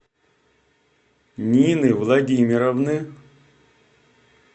нины владимировны